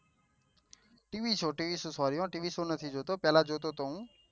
TV show TV show નથી જોતો પેહલા જોતો છો હું